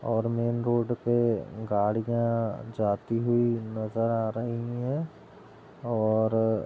और main road पर गाड़ियां जाती हुई नजर आ रही और --